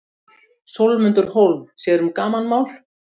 Sólmundur Hólm sér um gamanmál.